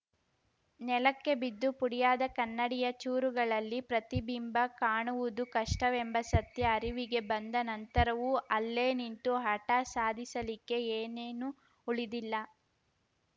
ನೆಲಕ್ಕೆ ಬಿದ್ದು ಪುಡಿಯಾದ ಕನ್ನಡಿಯ ಚೂರುಗಳಲ್ಲಿ ಪ್ರತಿಬಿಂಬ ಕಾಣುವುದು ಕಷ್ಟವೆಂಬ ಸತ್ಯ ಅರಿವಿಗೆ ಬಂದ ನಂತರವೂ ಅಲ್ಲೇ ನಿಂತು ಹಠ ಸಾಧಿಸಲಿಕ್ಕೆ ಏನೇನೂ ಉಳಿದಿಲ್ಲ